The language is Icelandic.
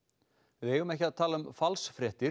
við eigum ekki að tala um falsfréttir